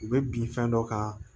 U bɛ bin fɛn dɔ kan